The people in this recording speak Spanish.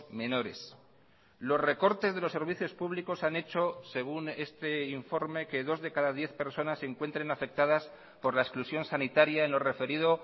menores los recortes de los servicios públicos han hecho según este informe que dos de cada diez personas se encuentren afectadas por la exclusión sanitaria en lo referido